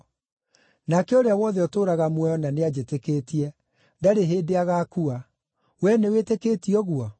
nake ũrĩa wothe ũtũũraga muoyo na nĩanjĩtĩkĩtie, ndarĩ hĩndĩ agaakua. Wee nĩwĩtĩkĩtie ũguo?”